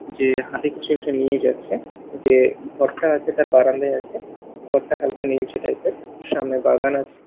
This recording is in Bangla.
যে হাতে কিছু একটা নিয়ে যাচ্ছে যে ঘরটা আছে তার বারান্দায় আছে ঘরটা হালকা নীলচে টাইপের -এর সামনে বাগান আছে।